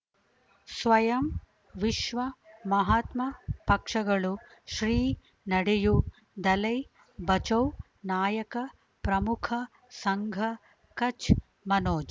ಸ್ವಯಂ ವಿಶ್ವ ಮಹಾತ್ಮ ಪಕ್ಷಗಳು ಶ್ರೀ ನಡೆಯೂ ದಲೈ ಬಚೌ ನಾಯಕ ಪ್ರಮುಖ ಸಂಘ ಕಚ್ ಮನೋಜ್